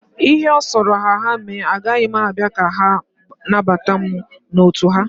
Ihe ọ sọrọ ha mee, agaghị m abịa ka ha nabata mụ n'otu ha.